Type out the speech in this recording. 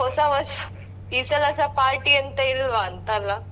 ಹೊಸ ವರ್ಷ ಈ ಸಲ ಸ party ಎಂತ ಇಲ್ವಂತಲ್ಲ?